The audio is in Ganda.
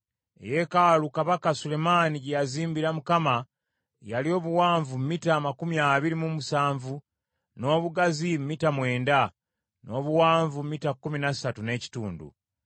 Eyeekaalu kabaka Sulemaani gye yazimbira Mukama yali obuwanvu mita amakumi abiri mu musanvu, n’obugazi mita mwenda, n’obuwanvu mita kkumi na ssatu n’ekitundu.